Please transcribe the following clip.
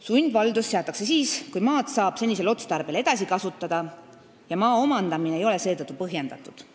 Sundvaldus seatakse siis, kui maad saab senisel otstarbel edasi kasutada ja maa omandamine ei ole seetõttu põhjendatud.